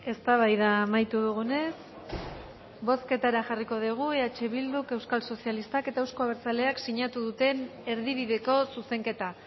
eztabaida amaitu dugunez bozketara jarriko dugu eh bilduk euskal sozialistak eta euzko abertzaleak sinatu duten erdibideko zuzenketa